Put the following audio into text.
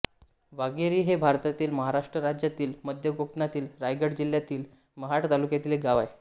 वाघेरी हे भारतातील महाराष्ट्र राज्यातील मध्य कोकणातील रायगड जिल्ह्यातील महाड तालुक्यातील एक गाव आहे